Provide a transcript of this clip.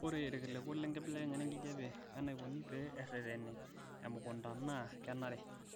Ore irkiliku lenkibelekanyata enkijiepe o enaikoni pee ereteni emekunta naa kenare